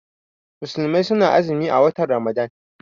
Musulmai suna azumi a watan ramadan